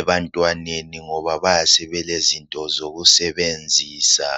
ebantwaneni ngoba bayabe sebelezinto zokusebenzisa.